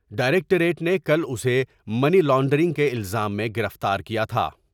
ڈائر یکٹریٹ نے کل اسے منی لانڈرنگ کے الزام میں گرفتار کیا تھا ۔